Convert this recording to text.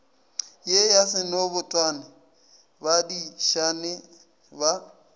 ye ya senobotwane badišana ba